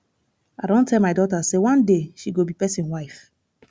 i don tell my dota sey one day she go be pesin wife